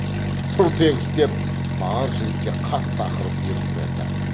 тұр тегіс деп бар жігітке қатты ақырып бұйрық берді